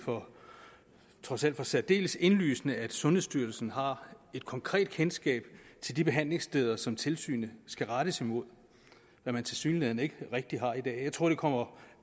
trods alt for særdeles indlysende at sundhedsstyrelsen har et konkret kendskab til de behandlingssteder som tilsynet skal rettes imod hvad man tilsyneladende ikke rigtig har i dag jeg tror det kommer